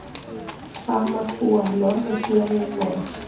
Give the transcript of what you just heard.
samar búa í norðurhéruðum noregs